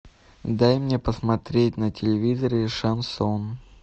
дай мне посмотреть на телевизоре шансон